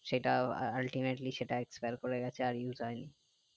সেটা ultimately সেটা expire করে গেছে আর use হয়নি